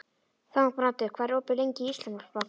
Þangbrandur, hvað er opið lengi í Íslandsbanka?